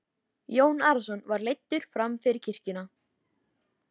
Jón Arason var leiddur fram fyrir kirkjuna.